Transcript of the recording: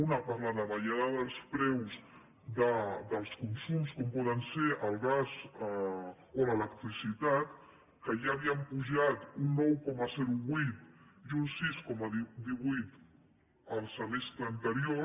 una per la davallada dels preus dels consums com poden ser el gas o l’electrici·tat que ja havien pujat un nou coma vuit i un sis coma divuit el semestre anterior